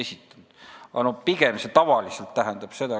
Nad ei ole lihtsalt vastust esitanud.